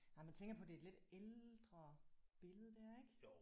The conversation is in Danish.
Nej man tænker på det er et lidt ældre billede der ik